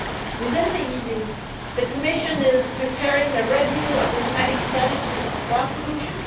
Within the EU, the Commission is preparing a review of the Thematic Strategy on Air Pollution.